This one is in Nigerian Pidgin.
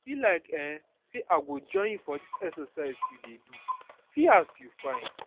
e be like um say i go join you for dis exercise you dey do see as you fine